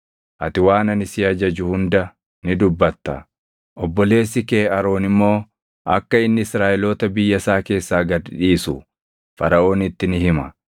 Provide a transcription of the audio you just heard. Ati waan ani si ajaju hunda ni dubbata; obboleessi kee Aroon immoo akka inni Israaʼeloota biyya isaa keessaa gad dhiisu Faraʼoonitti ni hima.